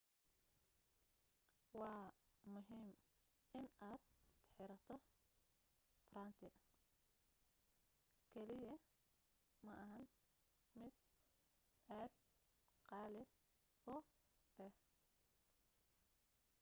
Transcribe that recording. waa muhiim inaad xirato farantikaliya ma ahan mid aad qaali u ah